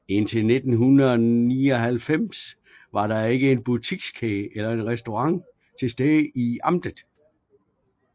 Indtil 1999 var der ikke en butikskæde eller restaurant tilstede i amtet